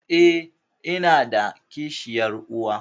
Eh, inada kishiyar uwa?